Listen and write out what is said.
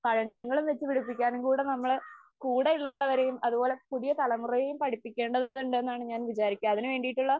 പഴങ്ങളും വച്ചുപിടിപ്പിക്കാനും കൂടെ നമ്മളെ കൂടെയുള്ളവരെയും അതുപോലെ പുതിയ തലമുറയെയും പഠിപ്പിക്കേണ്ടതുണ്ട് എന്നാണ് ഞാൻ വിചാരിക്കാ. അതിന് വേണ്ടിയിട്ടുള്ള